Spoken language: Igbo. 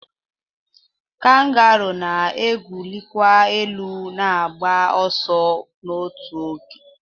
kangaroo na-awụlikwa elu na-agba ọsọ n'otu oge